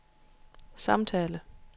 samtale